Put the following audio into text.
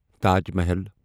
Taj Mahal